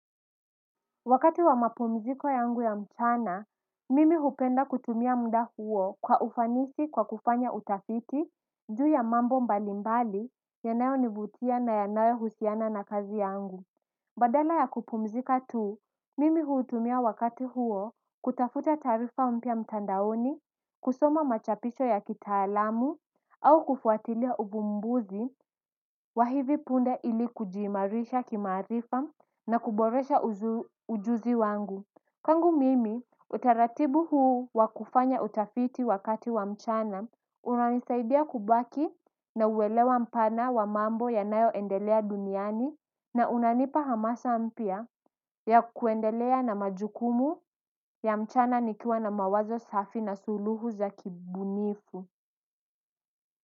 Wakati wa mapumziko yangu ya mchana, mimi hupenda kutumia mda huo kwa ufanisi kwa kufanya utafiti, juu ya mambo mbalimbali, yanayo nivutia na yanayohusiana na kazi yangu. Badala ya kupumzika tu, mimi hutumia wakati huo kutafuta taarifa umpya mtandaoni, kusoma machapisho ya kitaalamu, au kufuatilia uvumbuzi wa hivi punde ili kujimarisha kimarifa na kuboresha ujuzi wangu. Kwangu mimi utaratibu huu wakufanya utafiti wakati wa mchana unanisaidia kubaki na uwelewa mpana wa mambo ya nayo endelea duniani na unanipa hamasa mpya ya kuendelea na majukumu ya mchana nikiwa na mawazo safi na suluhu za kibunifu.